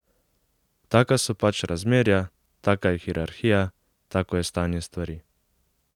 Taka so pač razmerja, taka je hierarhija, tako je stanje stvari.